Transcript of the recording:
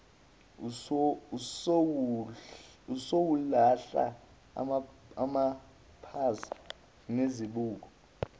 usowulahla amapasi nezibuko